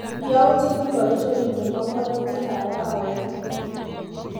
Yautik ingoro chemiite panganutikap arawet nito.